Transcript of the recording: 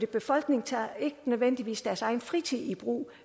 befolkningen tager ikke nødvendigvis deres fritid i brug